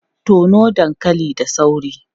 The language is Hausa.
Tono dankali da sauri!